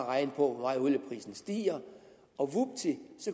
regne på hvor meget olieprisen stiger og vupti